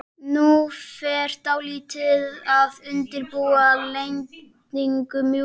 Nú fer skáldið að undirbúa lendingu- mjúka.